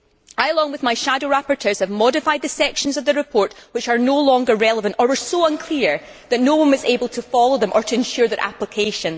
Along with my shadow rapporteurs, I have modified the sections of the report which are no longer relevant or which were so unclear that no one was able to follow them or ensure their application.